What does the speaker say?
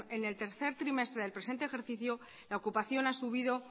en el tercer trimestre del presente ejercicio la ocupación ha subido